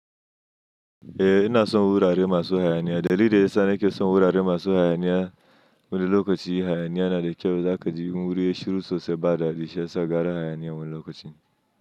Eh ina son wurare masu hayaniya. Dalilin da ya sa nake son wurare masu hayaniya, wani lokacin hayaniya na da kyau, zakaji in wuri yai shiru sosai ba daɗi shi yasa gara hayaniya wani lokacin.